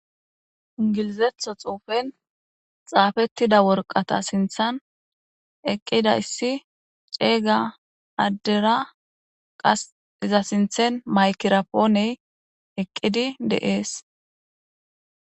ingilizetho xuufen xaafettida worqata sinthan eqqida issi ceeyga addera qas za sinthen maykirapooney eqqidi de'ees